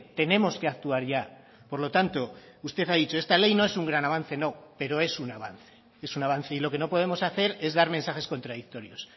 tenemos que actuar ya por lo tanto usted ha dicho esta ley no es un gran avance no pero es un avance es un avance y lo que no podemos hacer es dar mensajes contradictorios